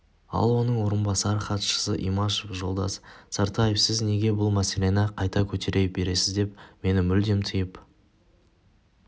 ал оның орынбасары хатшысы имашев жолдас сартаев сіз неге бұл мәселені қайта көтере бересіз деп мені мүлдем тиып